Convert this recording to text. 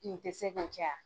tɛ se k'o kɛ ya.